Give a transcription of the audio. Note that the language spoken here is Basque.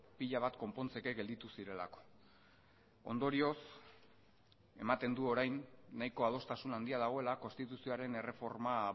pila bat konpontzeke gelditu zirelako ondorioz ematen du orain nahiko adostasun handia dagoela konstituzioaren erreforma